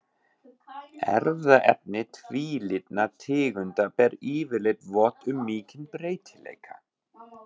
Erfðaefni tvílitna tegunda ber yfirleitt vott um mikinn breytileika.